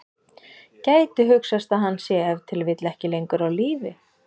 Gæti hugsast að hann sé ef til vill ekki lengur á lífi?